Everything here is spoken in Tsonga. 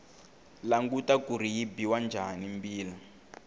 languta kuri yi biwa njhani mbila